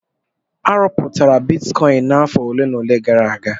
A rụpụtara bitikọin n'afọ ole na ole gara aga.